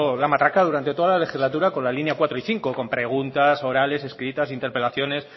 la matraca durante toda la legislatura con la líneas cuatro y cinco con preguntas orales escritas interpelaciones